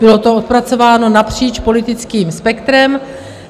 Bylo to odpracováno napříč politickým spektrem.